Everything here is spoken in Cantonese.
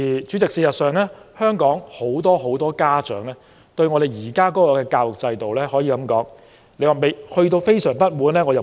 主席，事實上，究竟香港是否有很多家長對教育制度感到相當不滿呢？